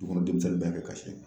Du kɔnɔ demisɛnnin bɛɛ bɛ kasi